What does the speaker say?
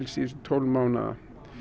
síðustu tólf mánuðum